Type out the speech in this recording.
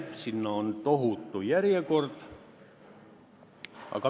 Sinna on tohutu järjekord.